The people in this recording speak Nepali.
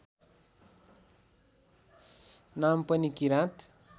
नाम पनि किराँत